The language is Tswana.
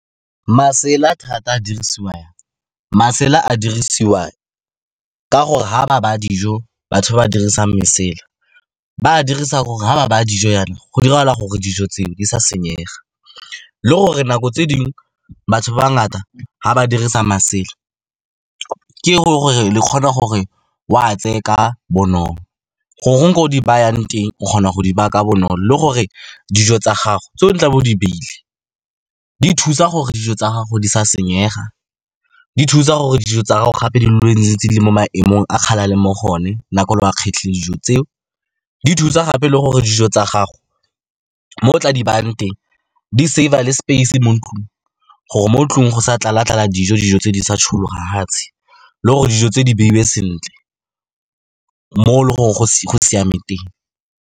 Masela thata a dirisiwa jang? Masela a dirisiwa ka gore ga ba baya dijo, batho ba ba dirisang lesela, ba a dirisa ha ba baya dijo jaana, go diragala gore dijo tseo di sa senyega, le gore nako tse dingwe batho ba ba ngata ga ba dirisa masela, ke gore le kgone gore o a tseye ka bonolo goreng go di bayang teng, o kgona go di baya ka bonolo. Le gore dijo tsa gago tse o tla bo o di beile di thusa gore dijo tsa gago di sa senyega, di thusa gore dijo tsa gago gape di dule ntse di le mo maemong a kgale a leng mo go one, nako e le o a kgetlhile dijo tseo, di thusa gape le gore dijo tsa gago mo o tla di bayang teng di-save-a le space mo ntlong, gore mo tlong go sa tlala-tlala dijo, dijo tse di sa tshologa fatshe, le gore dijo tse di beiwe sentle mo e leng gore go siame teng.